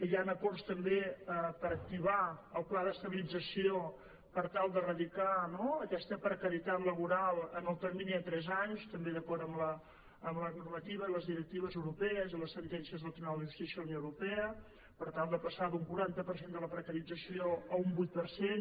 hi han acords també per activar el pla d’estabilització per tal d’erradicar no aquesta precarietat laboral en el termini de tres anys també d’acord amb la normativa i les directives europees i les sentències del tribunal de justícia de la unió europea per tal de passar d’un quaranta per cent de la precarització a un vuit per cent